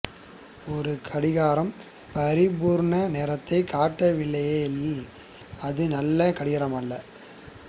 ஒரு கடிகாரம் பரிபூரண நேரத்தைக் காட்டவில்லையாயின் அது நல்ல கடிகாரமல்ல